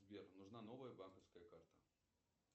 сбер нужна новая банковская карта